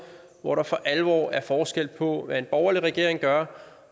hvor der for alvor er forskel på hvad en borgerlig regering gør